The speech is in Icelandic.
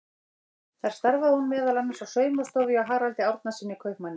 Þar starfaði hún meðal annars á saumastofu hjá Haraldi Árnasyni kaupmanni.